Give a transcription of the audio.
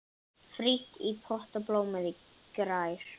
Frítt í potti blómið grær.